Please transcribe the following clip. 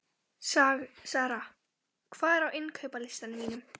Sara, hvað er á innkaupalistanum mínum?